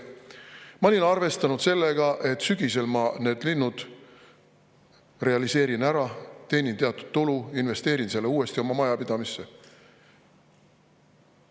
Ma olin arvestanud sellega, et sügisel ma need linnud realiseerin ära, teenin teatud tulu ja investeerin selle uuesti oma majapidamisse.